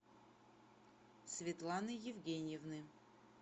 светланы евгеньевны